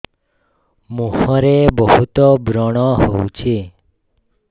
ମୁଁହରେ ବହୁତ ବ୍ରଣ ହଉଛି